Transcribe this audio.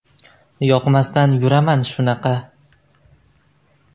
Yoqmasdan yuraman shunaqa!